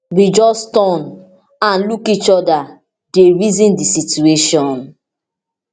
we just turn and look each oda dey reason di situation